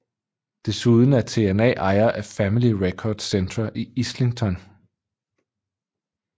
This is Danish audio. Desuden er TNA ejer af Family Records Centre i Islington